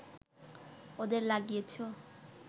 ওদের লাগিয়েছো